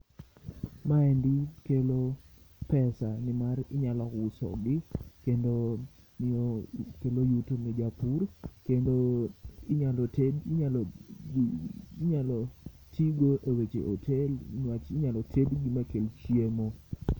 Ma endi kelo pesa nimar inyalo uso gi kendo kelo yuto ne japur kendo inyalo ti go e weche hotel ni wach inyalo ted gi ma kel chiemo.